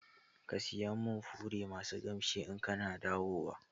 Ka saya min fure masu kamshi in kana dawowa